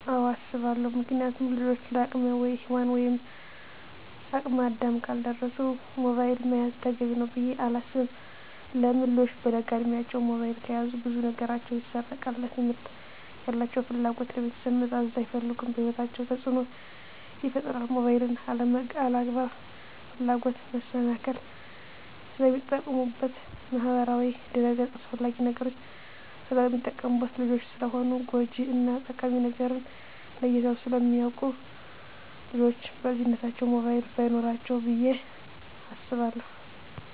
አወ አሰባለው ምክንያቱም ልጆች ለአቅመ ሄዋን ወይም ለአቅመ አዳም ካልደረሱ ሞባይል መያዝ ተገቢ ነው ብዬ አላስብም። ለምን ልጆች በለጋ እድማቸው ሞባይል ከያዙ ብዙ ነገራቸው ይሰረቃል ለትምህርት ያላቸው ፍላጎት, ለቤተሰብ መታዘዝ አይፈልጉም በህይወታቸው ተፅዕኖ ይፈጥራል ሞባይልን ለአላግባብ ፍላጎት መሰናክል ስለሚጠቀሙበት በማህበራዊ ድረ-ገፅ አላስፈላጊ ነገሮች ስለሚጠቀሙበት። ልጆች ስለሆኑ ጎጅ እና ጠቃሚ ነገርን ለይተው ስለማያወቁ ልጆች በልጅነታቸው ሞባይል በይኖራቸው ብዬ አስባለሁ።